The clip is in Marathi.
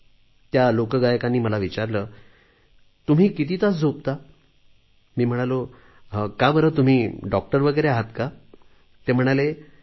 त्यांनी मला विचारले तुम्ही किती तास झोपता मी म्हणालो का बरे तुम्ही डॉक्टर आहात का म्हणाले नाही नाही